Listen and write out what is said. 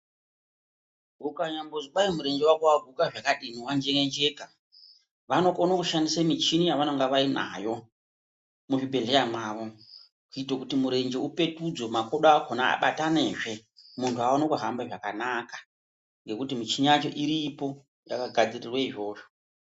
Ukanyambozi kwai murenje wako waguke zvakadii wanjeenjeka, vanokono kushandise michini yavanenge vainayo muzvibhedhleya mwavo kuito kuti murenje upetudzwe makodo akona abatanazve muntu agone kuhamba zvakanaka, ngekuti michini yacho iripo yakagadzirirwa izvozvo.